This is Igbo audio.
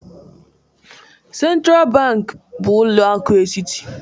Sentral banki bụ ụlọ akụ etiti.